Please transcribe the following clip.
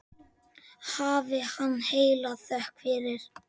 Hafi hann heila þökk fyrir.